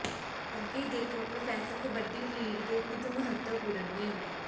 ਅੱਗੇ ਦੇਖੋ pro kabaddi league ਦੇ ਕੁਝ ਮਹੱਤਵਪੂਰਨ ਨਿਯਮ